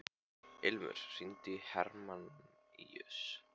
Ilmur, hringdu í Hermanníus.